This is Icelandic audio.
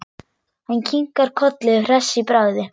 Hann kinkar kolli hress í bragði.